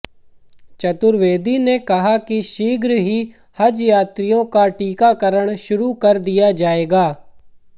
चतुर्वेदी ने कहा कि शीघ्र ही हज यात्रियों का टीकाकरण शुरू कर दिया जाएगा